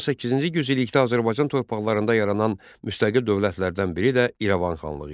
18-ci yüzillikdə Azərbaycan torpaqlarında yaranan müstəqil dövlətlərdən biri də İrəvan xanlığı idi.